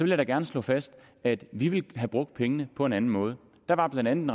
jeg da gerne slå fast at vi ville have brugt pengene på en anden måde der var blandt andet